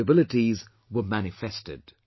Their capabilities were manifested